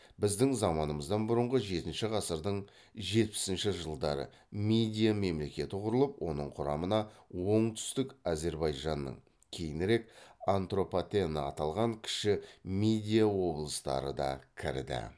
біздің заманымыздан бұрынғы жетінші ғасырдың жетпісінші жылдары мидия мемлекеті құрылып оның құрамына оңтүстік әзірбайжанның кейінірек антропатена аталған кіші мидия облыстары да кірді